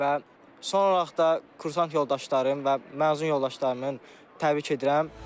Və son olaraq da kursant yoldaşlarımın və məzun yoldaşlarımın təbrik edirəm.